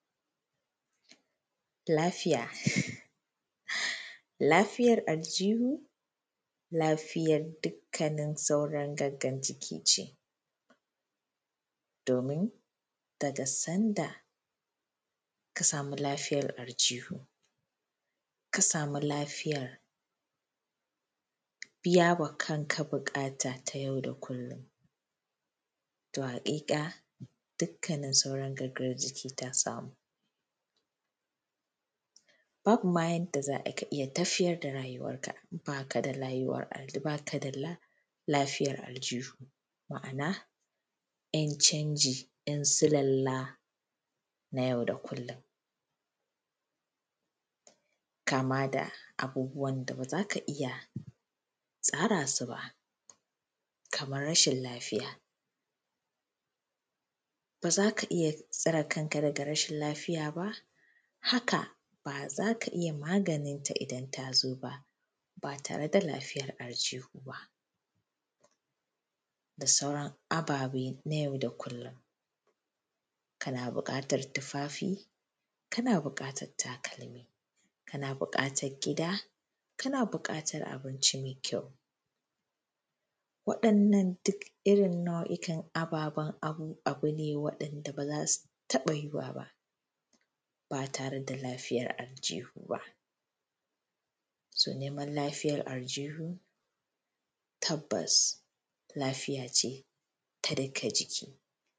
lafiya lafiyar aljuhu lafiyar dukkanin sauran gangan jiki ce domin daga sanda ka samu lafiyar aljuhu ka samu lafiyar biya ma kanka buƙata ta yau da kullum To haƙiƙa dukkanin sauran gangan jiki ta samu Babu ma yadda za ka iya tafiyar da rayuwarka ba ka da lafiyar aljuhu Ma’ana ‘yan canji ‘yan sulalla na yau da kullum Kama da abubuwan da ba za ka iya tsara su ba kamar rashin lafiya ba za ka iya tsare kan ka daga rashin lafiya ba haka ba za ka iya maganin ta idan ta zo ba ba tare da lafiyar aljuhu ba da sauran aba be na yau da kullum Ka na buƙaatar tofafi ka na bukatar takalmi ka na buƙatar gida ka na buƙatar abinci mai kyau waɗannan duk irin nau’ikan ababen abu ne waɗanda ba za su taɓa yuwuwa ba ba tare da lafiyar alǳuhu ba so neman lafiyar alǳuhu tabbas lafiya ce ta dukkan jiki